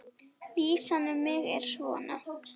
Vísan um mig er svona